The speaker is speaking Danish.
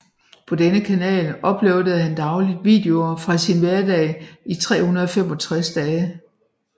På denne kanal uploadede han dagligt videoer fra sin hverdag i 365 dage